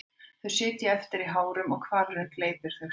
Þau sitja eftir í hárunum og hvalurinn gleypir þau síðan.